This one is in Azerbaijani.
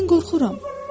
Mən qorxuram.